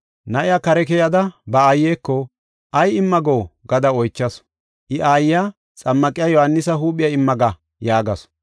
Na7iya kare keyada ba aayeko, “Ay imma go?” gada oychasu. I aayiya, “Xammaqiya Yohaanisa huuphiya imma ga” yaagasu.